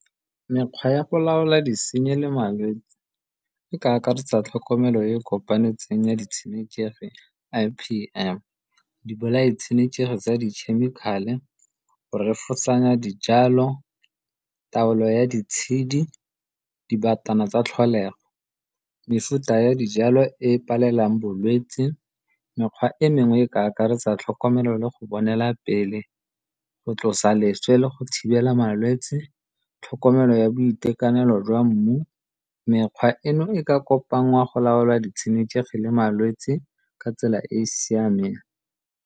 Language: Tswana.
Mekgwa ya go laola disenyi le malwetsi e ka akaretsa tlhokomelo e e kopanetsweng ya di tshenekegi, I_P_M. Di bolae tshenekegi tsa dikhemikhale, go refosanya dijalo, taolo ya ditshedi dibatana tsa tlholego. Mefuta ya dijalo e e palelang bolwetsi, mekgwa e mengwe e ka akaretsa tlhokomelo le go bonela pele, go tlosa leswe le go thibela malwetsi, tlhokomelo ya boitekanelo jwa mmu. Mekgwa eno e ka kopanngwa go laola ditshenekegi le malwetsi ka tsela e e siameng.